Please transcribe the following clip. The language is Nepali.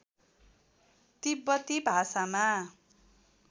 तिब्बती भाषामा